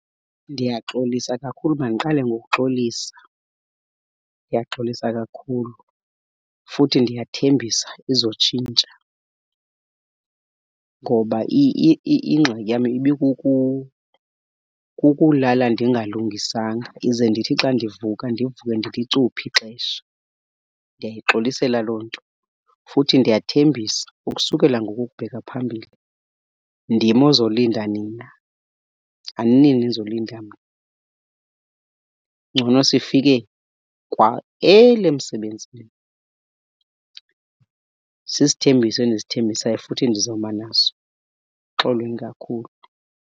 Ndiyaxolisa kakhulu, mandiqale ngokuxolisa. Ndiyaxolisa kakhulu futhi ndiyathembisa izotshintsha ngoba ingxaki yam kukulala ndingalungisanga ize ndithi xa ndivuka ndivuke ndilicuphe ixesha. Ndiyayixolisela loo nto futhi ndiyathembisa ukusukela ngoku ukubheka phambili ndim ozolinda nina, aninini enizolinda mna. Ngcono sifike kwa early emsebenzini. Sisithembiso endisithembisayo futhi ndizoma naso, xolweni kakhulu.